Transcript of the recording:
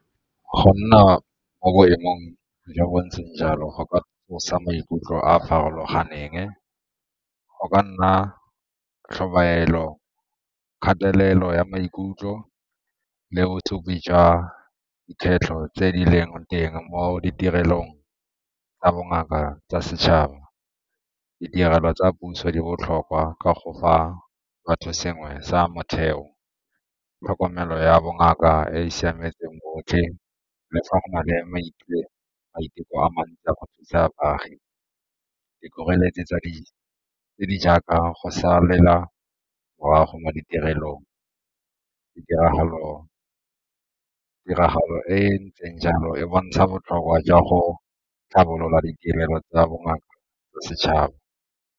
Go nna mo boemong jo bo ntseng jalo go ka tsosa maikutlo a a farologaneng, go ka nna tlhobaelo, kgatelelo ya maikutlo le jwa dikgwetlho tse di leng teng mo ditirelong ka bongaka tsa setšhaba. Ditirelo tsa puso di botlhokwa ka go fa batho sengwe sa motheo, tlhokomelo ya bongaka e e siametseng botlhe le fa go na le a mantsi a go thusa baagi. Dikgoreletsi tse di jaaka go sa mo ditirelong ditiragalong, tiragalo e e ntseng jalo e bontsha botlhokwa jwa go tlhabolola ditirelo tsa bongaka tsa setšhaba.